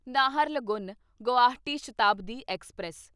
Naharlagun Guwahati Shatabdi express